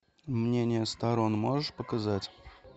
мнения сторон можешь показать